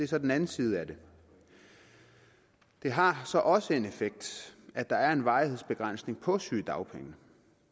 så den anden side af det det har så også en effekt at der er en varighedsbegrænsning på sygedagpenge